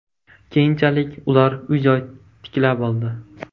Keyinchalik ular uy-joy tiklab oldi.